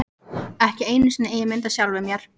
Ekki einu sinni eigin mynd af sjálfum mér.